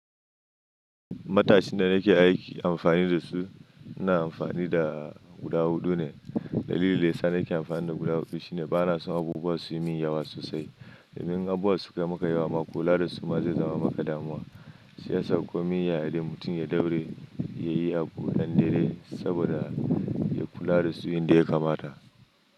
Matashin da nake aiki amfani da su, ina amfani da guda huɗu ne. Dalilin da yasa nake amfani da guda hudu shine bana son abubuwa su yi min yawa sosai. Domin abubuwan suka maka yawa ma kula da su ma zai zama maka damuwa. Shi yasa komi ya ya dai mutum ya ɗauraye, ya yi abu nan da daidai saboda ya kula da su yanda ya kamata.